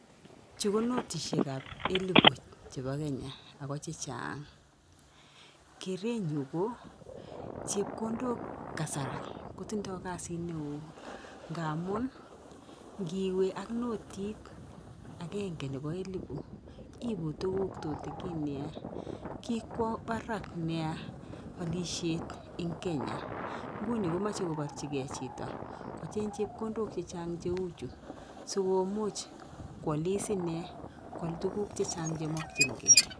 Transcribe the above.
chuu ko notishek ab elebu chebaa kenya ago chechang ,kerenyu koo chekondok kasari kotindai kasit neo ngamuun ngiwee ak notit agege nebaa elebut iiibu tuguk chetutugin nea kikwa barak nea alishet eng kenya ,nguni komache kobarchigei chitoo kocheng chepkondok chechang cheuchu sigomuuch kwalis inee kwal tuguk chechang chemakchingei .